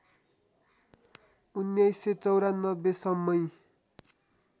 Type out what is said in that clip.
१९९४ सम्मै